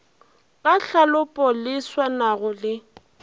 ka tlhalopo le swanago le